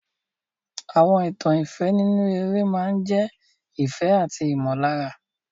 Àwọn ìtàn ìfẹ́ nínú eré máa ń jẹ́ ìfẹ́ àti ìmọ̀lára.